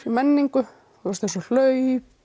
menningu eins og hlaup